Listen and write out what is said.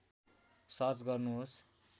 search गर्नुहोस्